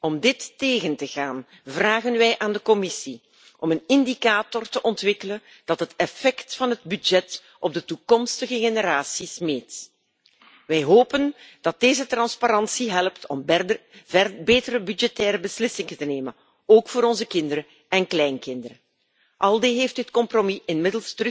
Om dit tegen te gaan vragen wij aan de Commissie om een indicator te ontwikkelen dat het effect van het budget op de toekomstige generaties meet. Wij hopen dat deze transparantie helpt om betere budgettaire beslissingen te nemen, ook voor onze kinderen en kleinkinderen. ALDE heeft inmiddels gevraagd het compromis opnieuw